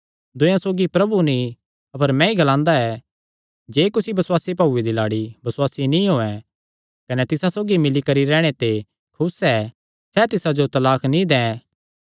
दूयेयां सौगी प्रभु नीं अपर मैंई ग्लांदा ऐ जे कुसी बसुआसी भाऊये दी लाड़ी बसुआसी नीं होयैं कने तिसा सौगी मिल्ली करी रैहणे ते खुस ऐ सैह़ तिसा जो तलाक नीं दैं